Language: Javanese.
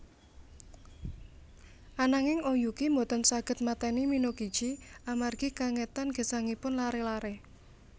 Ananging Oyuki boten saged mateni Minokichi amargi kengetan gesangipun laré laré